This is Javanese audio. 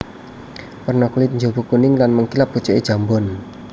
Werna kulit njaba kuning lan mengkilap pucuke jambon